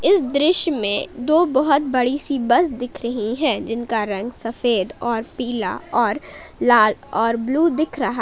इस दृश्य में दो बहुत बड़ी सी बस दिख रही है जिनका रंग सफेद और पीला और लाल और ब्लू दिख रहा --